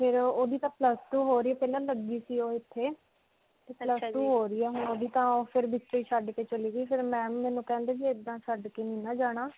ਤੇ ਫਿਰ. ਉਹਦੀ ਤਾਂ plus twoਹੋ ਰਹੀ ਹੈ. ਪਹਿਲਾਂ ਲੱਗੀ ਸੀ ਓਹ ਇੱਥੇ ਤੇ plus two ਹੋ ਰਹੀ ਹੈ ਹੁਣ ਓਹਦੀ ਤਾਂ ਓਹ ਫਿਰ ਵਿੱਚੋਂ ਹੀ ਛੱਡ ਕੇ ਚਲੀ ਗਈ ਮੈਨੂੰ ਕਹਿੰਦੀ ਵੀ ਇੱਦਾਂ ਨਹੀਂ ਨਾ ਜਾਣਾ.